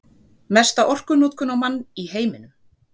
Mesta orkunotkun á mann í heiminum